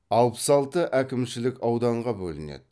алпыс алты әкімшілік ауданға бөлінеді